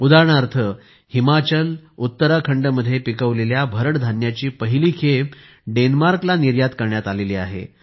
उदाहरणार्थ हिमाचल उत्तराखंडमध्ये पिकवलेल्या भरड धान्याची पहिली खेप डेन्मार्कला निर्यात करण्यात आली आहे